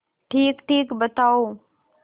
ठीकठीक बताओ